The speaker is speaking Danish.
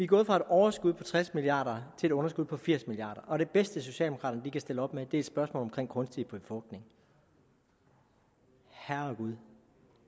gået fra et overskud på tres milliard kroner til et underskud på firs milliard og det bedste socialdemokraterne kan stille op med er et spørgsmål om kunstig befrugtning herregud